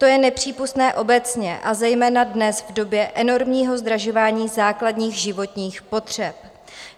To je nepřípustné obecně, a zejména dnes, v době enormního zdražování základních životních potřeb.